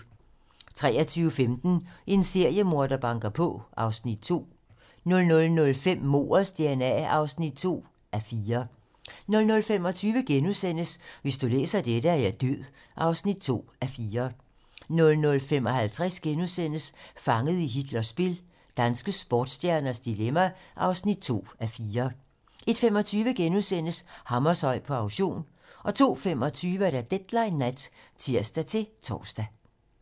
23:15: En seriemorder banker på (Afs. 2) 00:05: Mordets dna (2:4) 00:25: Hvis du læser dette, er jeg død (2:4)* 00:55: Fanget i Hitlers spil - danske sportsstjerners dilemma (2:4)* 01:25: Hammershøi på auktion * 02:25: Deadline nat (tir-tor)